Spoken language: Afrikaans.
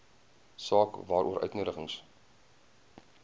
saak waaroor uitnodigings